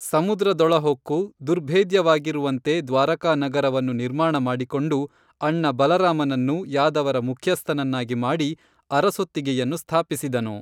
ಸಮುದ್ರ ದೊಳ ಹೊಕ್ಕು ದುರ್ಭೇದ್ಯವಾಗಿರುವಂತೆ ದ್ವಾರಕಾ ನಗರವನ್ನು ನಿರ್ಮಾಣ ಮಾಡಿಕೊಂಡು ಅಣ್ಣ ಬಲರಾಮನನ್ನು ಯಾದವರ ಮುಖ್ಯಸ್ಥನನ್ನಾಗಿ ಮಾಡಿ ಅರಸೊತ್ತಿಗೇಯನ್ನು ಸ್ಥಾಪಿಸಿದನು